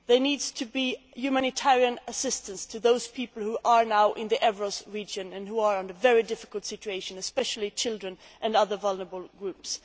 There needs to be humanitarian assistance to those people who are now in the Evros region and who are in a very difficult situation, especially children and other vulnerable groups.